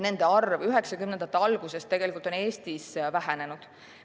Nende arv 1990-ndate algusest alates on Eestis vähenenud.